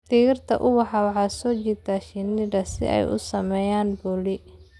Dhirta ubaxa waxay soo jiidataa shinnida si ay u sameeyaan polin.